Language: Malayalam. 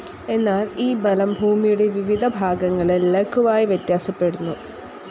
എന്നാൽ ഈ ബലം ഭൂമിയുടെ വിവിധഭാഗങ്ങളിൽ ലഘുവായി വ്യത്യാസപ്പെടുന്നു.